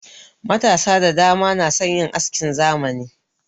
Matasa da dama na son yin askin zamani.